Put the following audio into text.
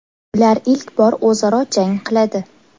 Ular ilk bor o‘zaro jang qiladi.